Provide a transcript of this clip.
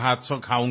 అలాగే తప్పకుండా